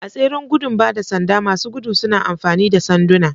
A tseren gudun ba da sanda, masu gudu suna amfani da sanduna.